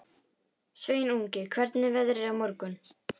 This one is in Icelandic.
Sveinungi, hvernig er veðrið á morgun?